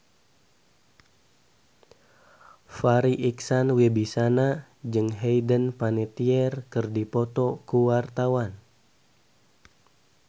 Farri Icksan Wibisana jeung Hayden Panettiere keur dipoto ku wartawan